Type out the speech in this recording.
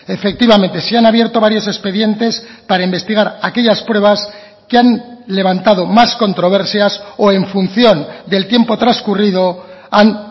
efectivamente se han abierto varios expedientes para investigar aquellas pruebas que han levantado más controversias o en función del tiempo transcurrido han